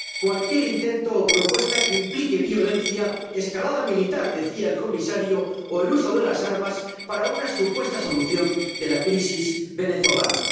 cualquier intento o propuesta que implique violencia —escalada militar, decía el comisario— o el uso de las armas para una supuesta solución de la crisis venezolana.